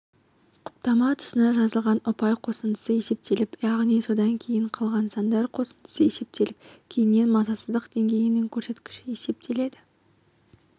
құптама тұсына жазылған ұпай қосындысы есептеліп яғни содан кейін қалған сандар қосындысы есептеліп кейіннен мазасыздық деңгейінің көрсеткіші есептеледі